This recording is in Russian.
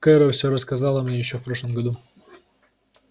кэро всё рассказала мне ещё в прошлом году